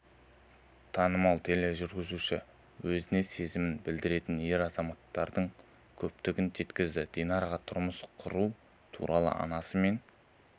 танымал тележүргізуші өзіне сезімін білдіретін ер азаматтардың көптігін жеткізді динараға тұрмыс құру туралы анасы мен